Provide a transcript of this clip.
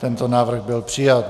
Tento návrh byl přijat.